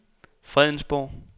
Fredensborg